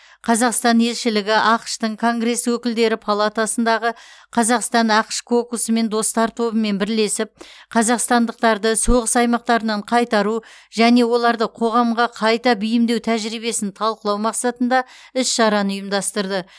қазақстан елшілігі ақш тың конгресс өкілдері палатасындағы қазақстан ақш кокусымен достар тобымен бірлесіп қазақстандықтарды соғыс аймақтарынан қайтару және оларды қоғамға қайта бейімдеу тәжірибесін талқылау мақсатында іс шараны ұйымдастырды